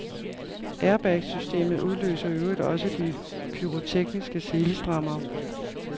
Airbagsystemet udløser i øvrigt også de pyrotekniske selestrammere.